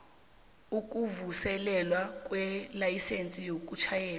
ukuvuselelwa kwelayisense yokutjhayela